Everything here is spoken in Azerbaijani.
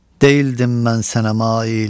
Deyildim mən sənə mail.